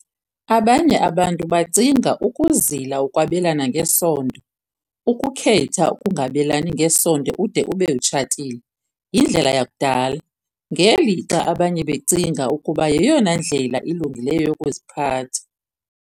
Abanye abantu bacinga ukuzila ukwabelana ngesondo, ukukhetha ukungabelani ngesondo ude ube utshatile, yindlela yakudala, ngelixa abanye becinga ukuba yeyona ndlela ilungileyo yokuziphatha.